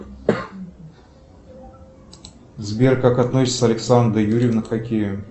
сбер как относится александра юрьевна к хоккею